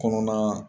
Kɔnɔna